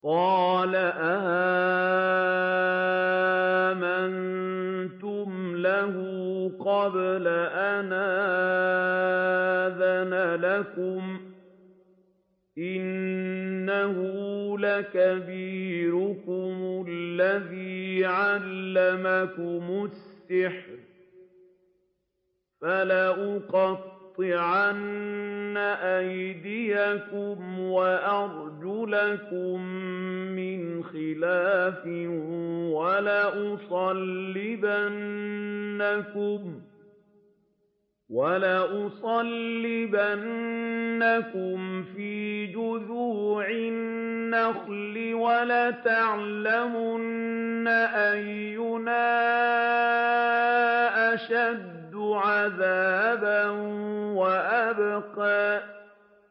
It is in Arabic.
قَالَ آمَنتُمْ لَهُ قَبْلَ أَنْ آذَنَ لَكُمْ ۖ إِنَّهُ لَكَبِيرُكُمُ الَّذِي عَلَّمَكُمُ السِّحْرَ ۖ فَلَأُقَطِّعَنَّ أَيْدِيَكُمْ وَأَرْجُلَكُم مِّنْ خِلَافٍ وَلَأُصَلِّبَنَّكُمْ فِي جُذُوعِ النَّخْلِ وَلَتَعْلَمُنَّ أَيُّنَا أَشَدُّ عَذَابًا وَأَبْقَىٰ